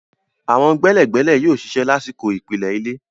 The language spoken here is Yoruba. Àwọn gbẹ́lẹ̀gbẹ́lẹ̀ yóò ṣiṣẹ́ lásìkò ìpìlẹ̀ ilé.